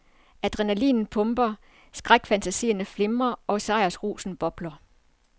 Adrenalinet pumper, skrækfantasierne flimrer og sejrsrusen bobler.